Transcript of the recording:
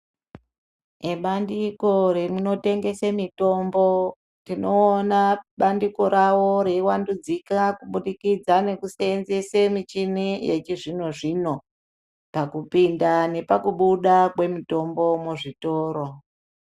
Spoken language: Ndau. Ebandiko rinotengese mitombo tinoona bandiko rawo reiwandudzika kubudikidza ngekuseenzesa michini yechizvino zvino pakupindwa nepakubuda kwemitombo muzvitoro.